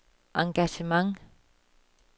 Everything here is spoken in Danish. engagement